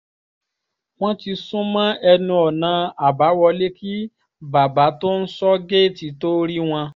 wọ́n ti sún mọ́ ẹnu ọ̀nà àbáwọlé kí bàbá tó ń sọ géètì tóo rí wọn